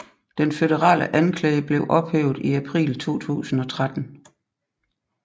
Den føderale anklage blev ophævet i april 2013